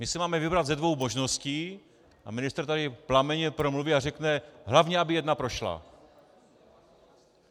My si máme vybrat ze dvou možností a ministr tady plamenně promluví a řekne: hlavně aby jedna prošla.